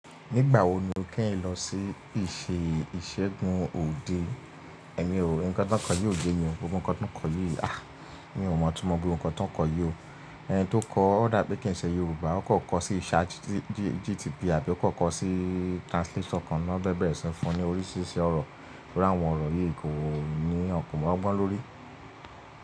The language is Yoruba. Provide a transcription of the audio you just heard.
Nígbà wo ni o kẹ́yin lọ sí ìṣe ìṣẹ́gun òde? Ẹ̀mí ò rí, ǹkan tó ń kọ yi o yé mi ò, gbogbo ǹkan tó ń kọ yìí, a! Èmi ò mọ̀, tumo gbogbo ǹkan tó ń kọ yi ó. Ẹni tó kọ ó dàbí kì í ṣe Yorùbá, ó kan kọ sí ChatGPT àbí ó kan kọ sí translator kan, ni wón bẹ̀rẹ̀ si fún ní oríṣiríṣi ọ̀rọ̀, tori áwọn ọ̀rọ̀ yí kòní yan, ko lo gbọ́n lórí.